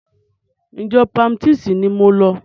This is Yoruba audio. Ìjọ baptisti ni mò ń lọ.